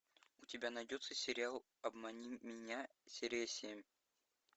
у тебя найдется сериал обмани меня серия семь